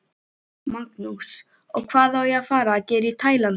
Magnús: Og hvað á að fara að gera í Tælandi?